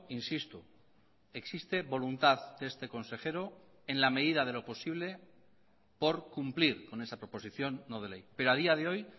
insisto existe voluntad de este consejero en la medida de lo posible por cumplir con esa proposición no de ley pero a día de hoy